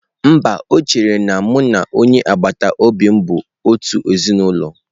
Mba, o chere na mụ na onye agbata obi m bụ otu ezinụlọ.